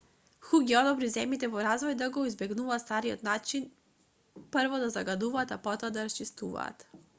ху ги охрабри земјите во развој да го избегнуваат стариот начин прво да загадуваат а потоа да расчистуваат